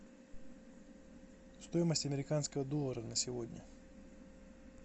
стоимость американского доллара на сегодня